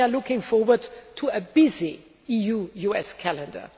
We are looking forward to a busy EU US calendar.